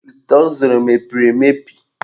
Ite ọ zụrụ emebiri mebiri?